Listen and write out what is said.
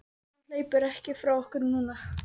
Hann hleypur ekki frá okkur núna.